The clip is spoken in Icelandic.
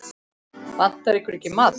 Vantar ykkur ekki maðk?